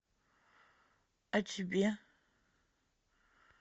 а тебе